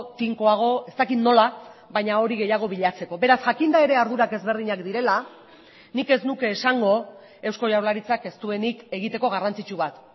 tinkoago ez dakit nola baina hori gehiago bilatzeko beraz jakinda ere ardurak ezberdinak direla nik ez nuke esango eusko jaurlaritzak ez duenik egiteko garrantzitsu bat